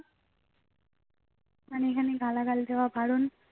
হানি honey গালাগাল দেওয়া বারণ